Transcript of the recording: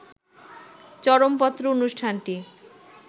চরমপত্র অনুষ্ঠানটি